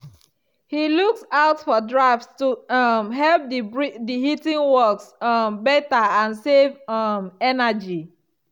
he looks out for drafts to um help the heating work um better and save um energy.